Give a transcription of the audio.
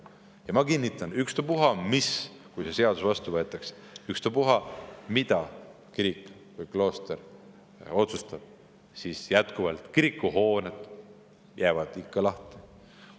Ja ma kinnitan, et kui see seadus vastu võetakse, siis ükstapuha, mida kirik või klooster otsustab, kiriku hooned jäävad ikka lahti.